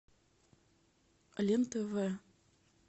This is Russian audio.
лен тв